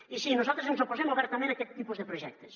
i sí nosaltres ens oposem obertament a aquest tipus de projectes